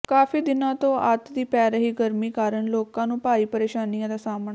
ਕਾਫੀ ਦਿਨਾਂ ਤੋਂ ਅੱਤ ਦੀ ਪੈ ਰਹੀ ਗਰਮੀ ਕਾਰਨ ਲੋਕਾਂ ਨੂੰ ਭਾਰੀ ਪਰੇਸ਼ਾਨੀਆਂ ਦਾ ਸਾਹਮਣਾ